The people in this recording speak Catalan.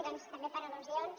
doncs també per al·lusions